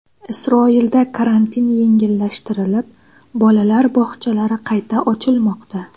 Isroilda karantin yengillashtirilib, bolalar bog‘chalari qayta ochilmoqda.